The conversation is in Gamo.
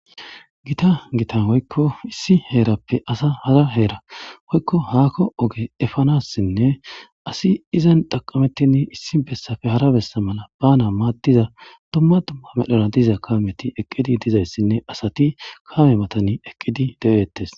Giththa giththa woykko issi herappe assa hara hera woykko hakkon oge efanasinne assi izzan xaqamethi issi bessape hara bessa efana mala madiya dumma dumma medhora dizza kamethi dizzayssane assathi kame mathan eqidi dethes.